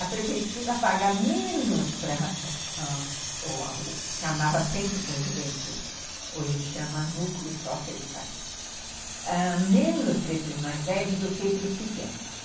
A prefeitura paga menos para o que chamava Centro da Juventude, hoje chama Núcleo Socioeducativo, menos para esses mais velhos do que para os pequenos.